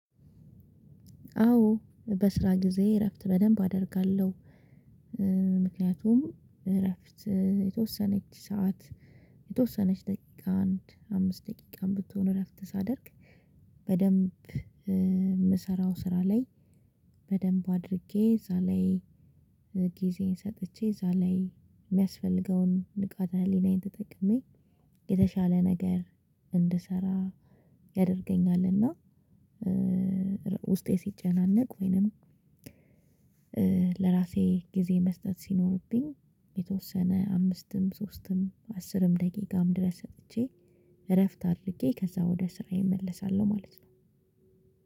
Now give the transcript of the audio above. አዎ በስራ ጊዜዬየ እረፍት በደንብ አደርጋለሁ። ምክንያቱም እረፍት የተወሰነች ሰዓት የተወሰነች ደቂቃ አንድ አምስት ደቂቃም ብትሆን እረፍት ሳደርግ። በደንብ እምሰራው ስራ ላይ በደንብ አድርጌ እዛ ላይ ጊዜየን ሰጥቼ እዛ ላይ የሚያስፈልገውን ንቃተ ህሊናዬን ተጠቅሜ የተሻለ ነገር እንድሰራ ያደርገኛል። እና ውስጤ ሲጨናነቅ ወይንም ለራሴ ጊዜ መስጠት ሲኖርብኝ የተወሰነ አምስትም ሶስትም አስርም ደቂቃም ድረስ ሰጥቼ እረፍት አድርጌ ከዛ ወደ ስራዬ እመለሳለሁ። ማለት ነው።